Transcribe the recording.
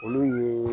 Olu ye